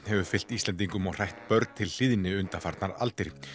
hefur fylgt Íslendingum og hrætt börn til hlýðni undanfarnar aldir